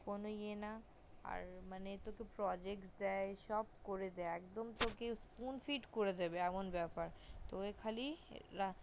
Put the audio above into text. কোনো ইয়ে না আর মানে তোকে project দেয় সব করে একদম পুরো school fit করে দেবেএমন বেপার তোকে খালি